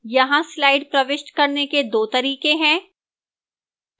यहां slide प्रविष्ट करने के दो तरीके हैं